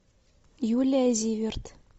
юлия зиверт